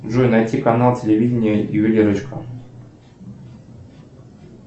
джой найти канал телевидения ювелирочку